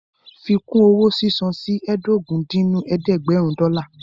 Fi kún owó sísan sí ẹ́ẹdógún dín ní ẹ̀ẹ́dẹ́gbẹ́rún dọ́là